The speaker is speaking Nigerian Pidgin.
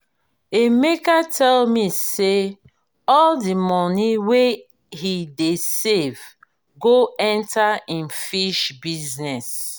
emeka tell me say all the money wey he dey save go enter im fish business